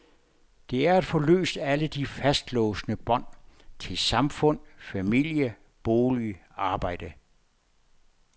Det er at få løst alle de fastlåsende bånd til samfund, familie, bolig, arbejde.